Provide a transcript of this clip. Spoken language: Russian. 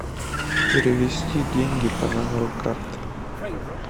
перевести деньги по номеру карты